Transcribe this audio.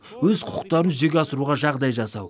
өз құқықтарын жүзеге асыруға жағдай жасау